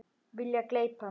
Vilja gleypa mig.